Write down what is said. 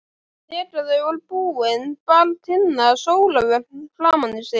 Þegar þau voru búin bar Tinna sólarvörn framan í sig.